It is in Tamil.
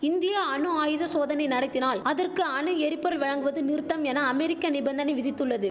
இந்தியா அணு ஆயுத சோதனை நடத்தினால் அதற்கு அணு எரிபொருள் வழங்குவது நிறுத்தம் என அமெரிக்க நிபந்தனை விதித்துள்ளது